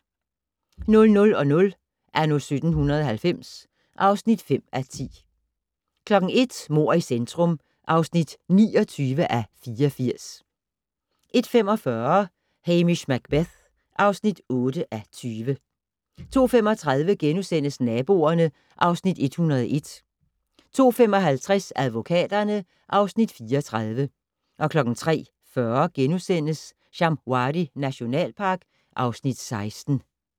00:00: Anno 1790 (5:10) 01:00: Mord i centrum (29:84) 01:45: Hamish Macbeth (8:20) 02:35: Naboerne (Afs. 101)* 02:55: Advokaterne (Afs. 34) 03:40: Shamwari nationalpark (Afs. 16)*